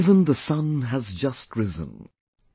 Even the sun has just risen...